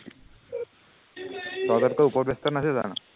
তহঁততকে উপৰ batch ত নাছিল জানো